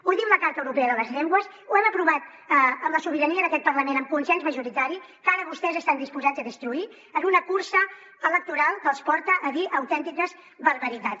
ho diu la carta europea de les llengües ho hem aprovat amb la sobirania d’aquest parlament amb consens majoritari que ara vostès estan disposats a destruir en una cursa electoral que els porta a dir autèntiques barbaritats